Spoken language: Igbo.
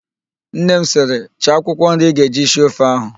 Nne m sịrị, "chaa akwụkwọ nri ị ga-eji sie ofe ahụ"!